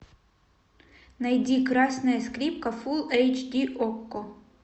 найди красная скрипка фул эйч ди окко